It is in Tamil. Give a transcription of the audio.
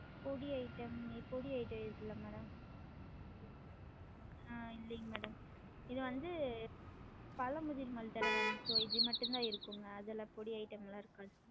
பொடி item பொடி item இல்ல madam ஆஹ் இல்லைங்க madam இது வந்து பழமுதிர் மாதிரி தான maam so இது மட்டும் தான் இருக்கும் அதெல்லாம் பொடி item லாம் இருக்காது